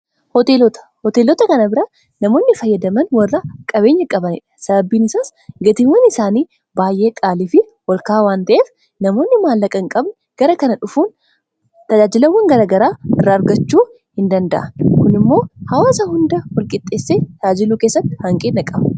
hoteelota kana bira namoonni fayyadaman warra qabeenya qabanidha sababbiin isaas gatiiwwan isaanii baay'ee qaaliifi walkaa waan ta'eef namoonni maallaqan qabni gara kana dhufuun tajaajilawwan gara garaa irraa argachuu hin danda'a kuni immoo hawaasa hunda malqixxeessee raajiluu keessatti hanqiinna qaba